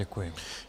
Děkuji.